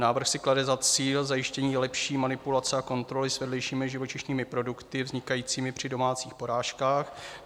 Návrh si klade za cíl zajištění lepší manipulace a kontroly s vedlejšími živočišnými produkty vznikajícími při domácích porážkách.